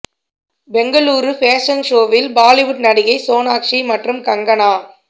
Bengaluru fashion ஷோவில் பாலிவுட் நடிகை சோனாக்ஷி மற்றும் கங்கனா